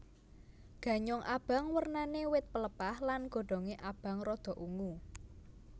Ganyong abang wernané wit pelepah lan godhongé abang rada ungu